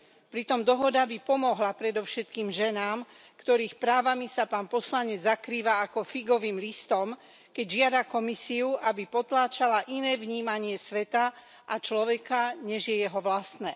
Pritom dohoda by pomohla predovšetkým ženám, ktorých právami sa pán poslanec zakrýva ako figovým listom, keď žiada Komisiu, aby potláčala iné vnímanie sveta a človeka, než je jeho vlastné.